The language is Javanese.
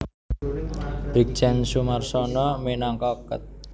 Brigjen Soemarsono minangka Ket